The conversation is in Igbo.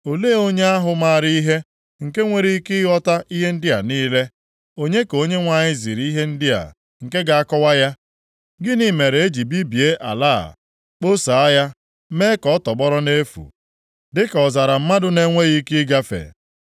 Olee onye ahụ maara ihe, nke nwere ike ịghọta ihe ndị a niile? Onye ka Onyenwe anyị ziri ihe ndị a, nke ga-akọwa ya? Gịnị mere e ji bibie ala a, kposaa ya, mee ka ọ tọgbọrọ nʼefu dịka ọzara mmadụ na-enweghị ike ịgafe?